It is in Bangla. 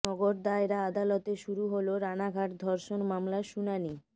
নগর দায়রা আদালতে শুরু হল রানাঘাট ধর্ষণ মামলার শুনানি